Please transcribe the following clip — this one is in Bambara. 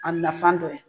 A nafan dɔ ye